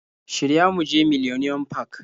Shirya mu je millenium park